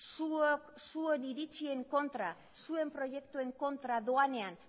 zuon iritzien kontra zuen proiektuen kontra doanean